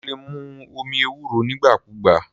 O lè mu omi ewúro nígbà kúùgbà.